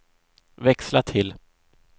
växla till